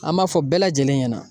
An b'a fɔ bɛɛ lajɛlen ɲɛna.